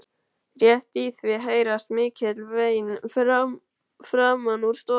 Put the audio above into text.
Rétt í því heyrast mikil vein framan úr stofu.